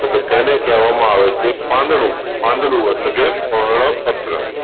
તોકે તેને કેહવામાં આવે છે પાંદડું, પાંદડું એટલે કે પર્ણપત્ર.